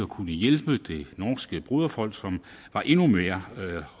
kunne hjælpe det norske broderfolk som var endnu mere